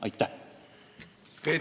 Aitäh!